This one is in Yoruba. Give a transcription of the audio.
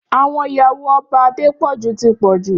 Áwòn iyàwó Òbá Adepoju ti pòjú